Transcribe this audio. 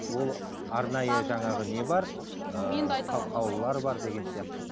ыыы қаулылар бар деген сияқты